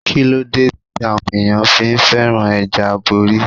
Kíló dé tí àwọn ẹ̀yàn fi féràn ẹja aborí?